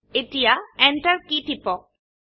এতিয়া Enter কী টিপক